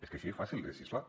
és que així és fàcil legislar